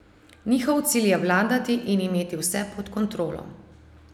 Njihov cilj je vladati in imeti vse pod kontrolo.